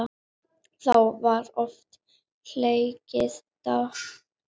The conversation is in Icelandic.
Þá var oft hlegið dátt.